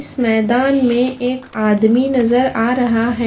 इस मैदान में एक आदमी नजर आ रहा है।